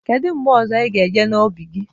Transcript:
Kedu mgbe ọzọ ị ga-eje n'ubi gi?